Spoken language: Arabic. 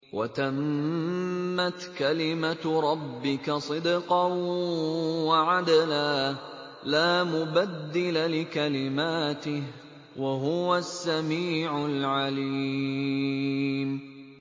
وَتَمَّتْ كَلِمَتُ رَبِّكَ صِدْقًا وَعَدْلًا ۚ لَّا مُبَدِّلَ لِكَلِمَاتِهِ ۚ وَهُوَ السَّمِيعُ الْعَلِيمُ